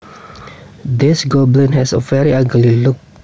This goblin has a very ugly look